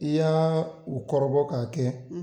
I y'aa u kɔrɔbɔ ka kɛ